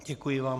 Děkuji vám.